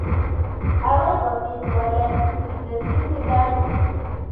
"Agoi kobiit waleet ", Kitesyi Zidane .